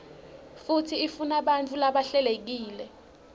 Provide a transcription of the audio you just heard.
futsi ifunabantfu labahlelekile